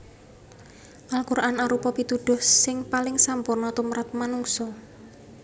Al Quran arupa pituduh sing paling sampurna tumrap manungsa